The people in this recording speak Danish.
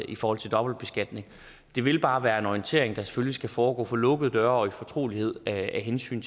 i forhold til dobbeltbeskatning det vil bare være en orientering der selvfølgelig skal foregå for lukkede døre og i fortrolighed af hensyn